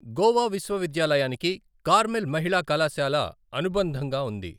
గోవా విశ్వవిద్యాలయానికి కార్మెల్ మహిళా కళాశాల అనుబంధంగా ఉంది.